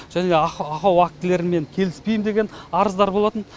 және ақау актілерімен келіспеймін деген арыздар болатын